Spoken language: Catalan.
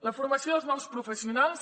la formació dels nous professionals